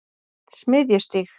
Smiðjustíg